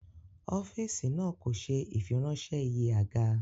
Ọ́fíìsì náà kò ṣe ìfiránṣẹ́ iye àga